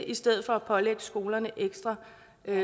i stedet for at pålægge skolerne ekstra